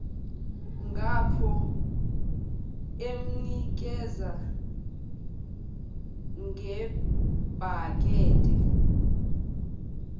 ngapho emnikeza ngebhakede